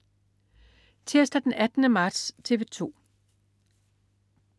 Tirsdag den 18. marts - TV 2: